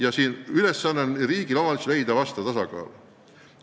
Ja siin on üks suur ülesanne leida riigi ja omavalitsuse funktsioonide tasakaal.